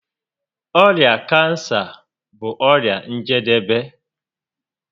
Ọrịa kansa bụ ọrịa njedebe